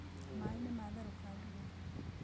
Maĩ nĩmatherũka nduge.